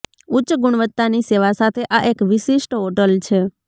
ઉચ્ચ ગુણવત્તાની સેવા સાથે આ એક વિશિષ્ટ હોટલ છે